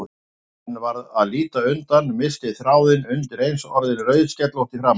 En varð að líta undan, missti þráðinn, undireins orðin rauðskellótt í framan.